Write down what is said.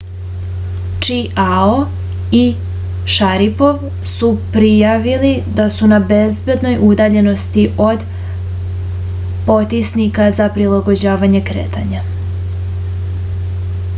čiao i šaripov su prijavili da su na bezbednoj udaljenosti od potisnika za prilagođavanje kretanja